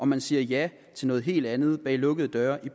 man siger ja til noget helt andet bag lukkede døre i